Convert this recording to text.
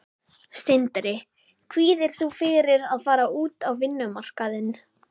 Sindri: Kvíðir þú fyrir að fara út á vinnumarkaðinn?